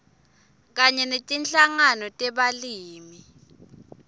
kanye netinhlangano tebalimi